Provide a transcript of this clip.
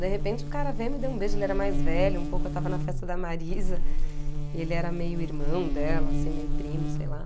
De repente, o cara veio, me deu um beijo, né, ele era mais velho um pouco eu estava na festa da Marisa, e ele era meio irmão dela, assim, meio primo, sei lá.